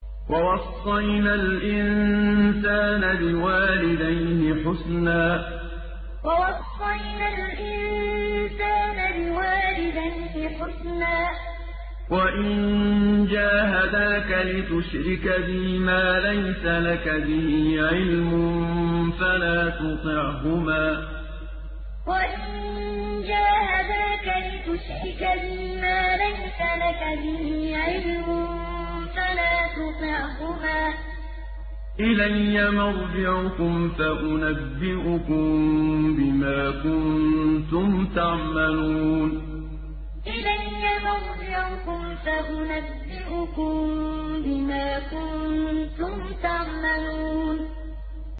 وَوَصَّيْنَا الْإِنسَانَ بِوَالِدَيْهِ حُسْنًا ۖ وَإِن جَاهَدَاكَ لِتُشْرِكَ بِي مَا لَيْسَ لَكَ بِهِ عِلْمٌ فَلَا تُطِعْهُمَا ۚ إِلَيَّ مَرْجِعُكُمْ فَأُنَبِّئُكُم بِمَا كُنتُمْ تَعْمَلُونَ وَوَصَّيْنَا الْإِنسَانَ بِوَالِدَيْهِ حُسْنًا ۖ وَإِن جَاهَدَاكَ لِتُشْرِكَ بِي مَا لَيْسَ لَكَ بِهِ عِلْمٌ فَلَا تُطِعْهُمَا ۚ إِلَيَّ مَرْجِعُكُمْ فَأُنَبِّئُكُم بِمَا كُنتُمْ تَعْمَلُونَ